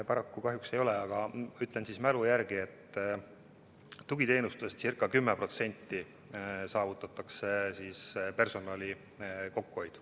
Paraku kahjuks ei ole, aga ütlen mälu järgi, et tugiteenuste puhul saavutatakse ca 10% personali kokkuhoid.